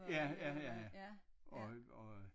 Ja ja ja og øh og